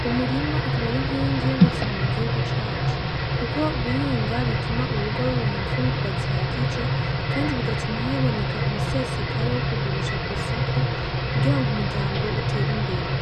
uwo murima akaba ar'inkingi y'ubuzima mu gihugu cacu kuko guhinga bituma urugo ruronka imfungurwa zihagije bigatuma haboneka umusesekara wo kugurisha kw'isoko kugira ngo umuryango uter'imbere.